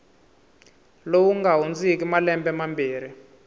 lowu nga hundziki malembe mambirhi